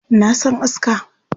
Na san aska.